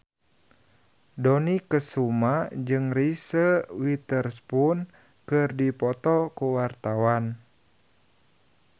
Dony Kesuma jeung Reese Witherspoon keur dipoto ku wartawan